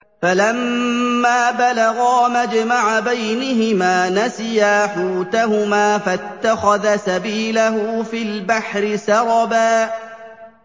فَلَمَّا بَلَغَا مَجْمَعَ بَيْنِهِمَا نَسِيَا حُوتَهُمَا فَاتَّخَذَ سَبِيلَهُ فِي الْبَحْرِ سَرَبًا